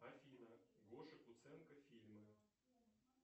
афина гоша куценко фильмы